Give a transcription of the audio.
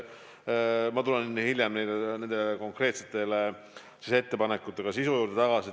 Ma tulen hiljem konkreetsete ettepanekute sisu juurde tagasi.